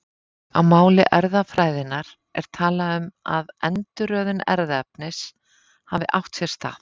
Á máli erfðafræðinnar er talað um að endurröðun erfðaefnis hafi átt sér stað.